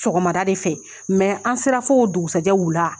Sɔgɔmada de fɛ, an sera fo o dugusɛjɛ wuula.